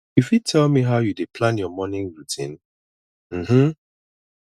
you fit tell me how you dey plan your morning routine um um